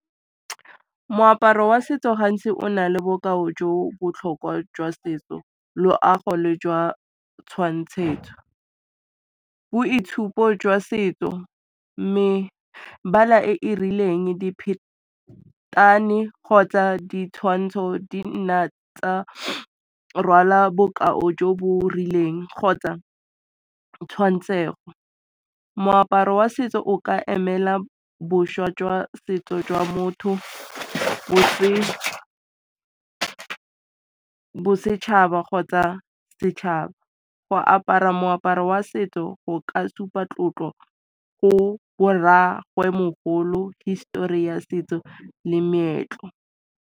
Moaparo wa setso gantsi o na le bokao jo botlhokwa jwa setso, loago le jwa tshwantshetso. Boitshupo jwa setso, mebala e e rileng, kgotsa ditshwantsho di nna tsa rwala bokao jo bo rileng kgotsa tshwantshego. Moaparo wa setso o ka emela boswa jwa setso jwa motho bosetšhaba kgotsa setšhaba. Go apara moaparo wa setso go ka supa tlotlo go bo rragwemogolo, histori ya setso le meetlo.